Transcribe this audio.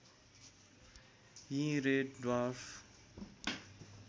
यी red dwarf